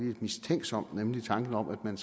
lidt mistænksom nemlig tanken om at man